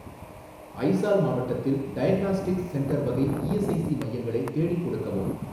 அய்சால் மாவட்டத்தில் diagnostics centre வகை ESIC மையங்களை தேடிக் கொடுக்கவும்